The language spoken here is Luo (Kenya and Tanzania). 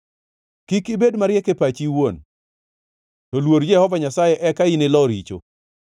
Kik ibed mariek e pachi iwuon to luor Jehova Nyasaye eka inilo richo.